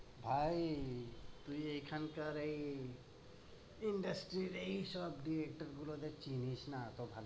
ভাই, তুই এখানকার এই industry এর এইসব দুই-এক গুলোদের চিনিস না?